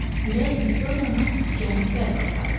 Külək Viktoriyanı cənub-qərbə aparırdı.